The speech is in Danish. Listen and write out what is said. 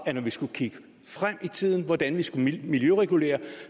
at når vi skal kigge frem i tiden hvordan vi skal miljøregulere